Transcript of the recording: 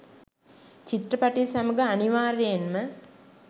චිත්‍රපටිය සමඟ අනිවාර්යයෙන්ම